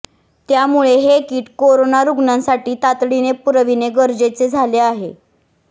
त्यामुळे हे kit corona रुग्णांसाठी तातडीने पुरविणे गरजेचे झाले आहे